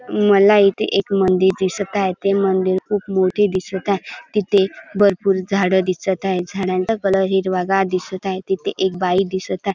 मला इथे एक मंदिर दिसत आहे ते मंदिर खूप मोठे दिसत आहे. तिथे भरपूर झाड दिसत आहे. झाडांचा कलर हिरवागार दिसत आहे. तिथे एक बाई दिसत आहे.